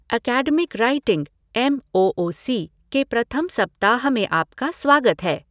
Academic writing M O O C के प्रथम सप्ताह में आपका स्वागत है।